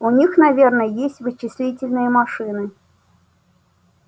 у них наверное есть вычислительные машины